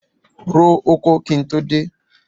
Ro oko kí n tó dé.